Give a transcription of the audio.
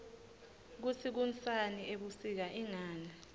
kutsi kunsani ebusika ingani